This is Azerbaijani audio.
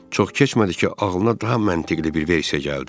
Çox keçmədi ki, ağlına daha məntiqəli bir versiya gəldi.